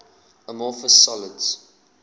amorphous solids